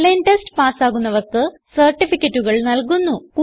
online test പാസ്സാകുന്നവർക്ക് സർട്ടിഫികറ്റുകൾ നല്കുന്നു